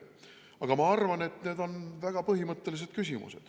Aga ma arvan, et need on väga põhimõttelised küsimused.